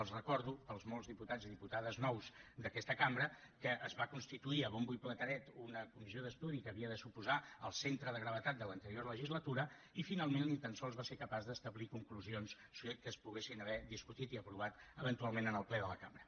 els recordo pels molts diputats i diputades nous d’aquesta cambra que es va constituir a bombo i plateret una comissió d’estudi que havia de suposar el centre de gravetat de l’anterior legislatura i finalment ni tan sols va ser capaç d’establir conclusions que es poguessin haver discutit i aprovat eventualment en el ple de la cambra